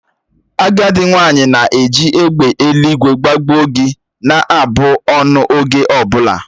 Agadị nwanyị na-eji "egbe eluigwe gbagbuo gi" na-abụ ọnụ oge ọ bụla